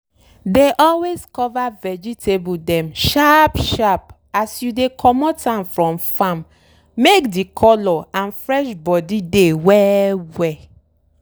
dey always cover vegetable dem sharp sharp as you dey comot am from farm make de color and fresh body dey well well.